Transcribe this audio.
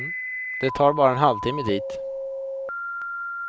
Det tar bara en halvtimme dit.